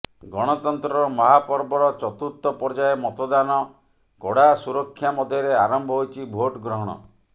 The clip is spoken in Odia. ଗଣତନ୍ତ୍ରର ମହାପର୍ବର ଚତୁର୍ଥ ପର୍ଯ୍ୟାୟ ମତଦାନ କଡ଼ା ସୁରକ୍ଷା ମଧ୍ୟରେ ଆରମ୍ଭ ହୋଇଛି ଭୋଟ ଗ୍ରହଣ